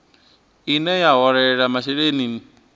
ine ya vha holela masheleni